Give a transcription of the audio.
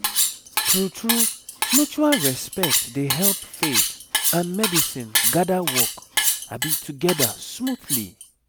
true true mutual respect dey help faith and medicine gather work together smoothly